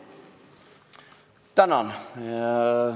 Tänan!